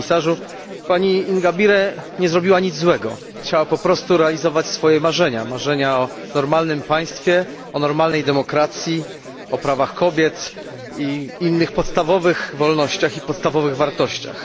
Panie Komisarzu! Pani Ingabire nie zrobiła nic złego, chciała jedynie realizować swoje marzenia, marzenia o normalnym państwie, o normalnej demokracji, o prawach kobiet i innych podstawowych wolnościach i podstawowych wartościach.